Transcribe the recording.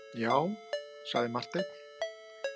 Já, sagði Marteinn.